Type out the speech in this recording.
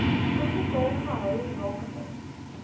oorbetaal gehou rakende